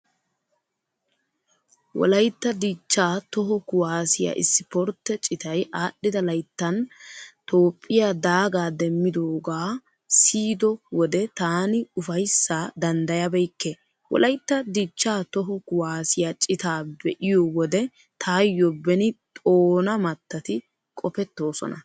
Wolaytta dichchaa toho kuwaasiyaa isiportte citay aadhdhida layttan Toophphiyaa daagaa demmidoogaa siyido wode taani ufayssaa danddayabekke. Wolaytta dichchaa toho kuwaasiyaa citaa be'iyo wode taayyo beni xoona mattati qopettoosona.